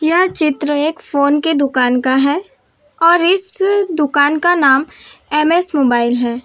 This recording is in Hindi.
यह चित्र एक फोन के दुकान का है और इस दुकान का नाम एम_एस मोबाइल है।